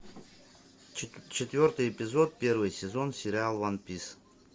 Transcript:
четвертый эпизод первый сезон сериал ван пис